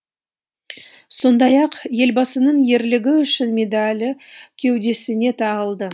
сондай ақ елбасының ерлігі үшін медалі кеудесіне тағылды